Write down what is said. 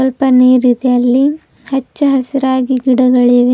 ಪನ್ನೀರಿದೆ ಅಲ್ಲಿ ಹಚ್ಚ ಹಸಿರಾಗಿ ಗಿಡಗಳಿವೆ.